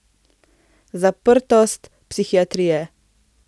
Zaprtost psihiatrije.